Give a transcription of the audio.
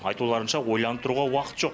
айтуларынша ойланып тұруға уақыт жоқ